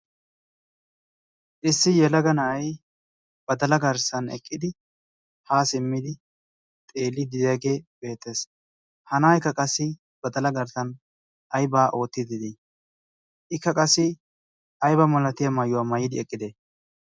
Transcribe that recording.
issi yelaga na'ay badala garssan eqqidi haa simmidi xeeli didaagee beexxees hana'aykka qassi badala garssan aybaa oottidid ikka qassi ayba malatiya maayuwaa mayidi eqqide?